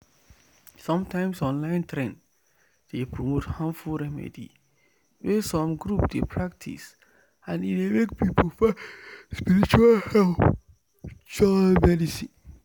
sometimes online trend dey promote harmful remedy wey some group dey practice and e dey make people find spiritual help join medicine.